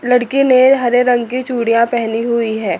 लड़की ने हरे रंग की चूड़ियां पेहनी हुई हैं।